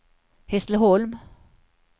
Hässleholm